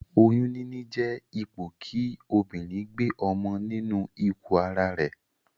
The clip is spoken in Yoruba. Oyún níní jé ipò kí obìrin gbe ọmọ nínu ikù ara rè